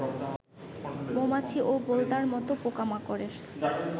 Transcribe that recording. মৌমাছি ও বোলতার মত পোকামাকড়ের